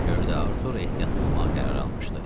Ona görə də Arthur ehtiyatlı olmaq qərarı almışdı.